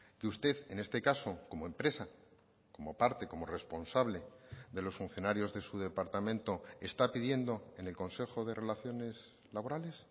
que usted en este caso como empresa como parte como responsable de los funcionarios de su departamento está pidiendo en el consejo de relaciones laborales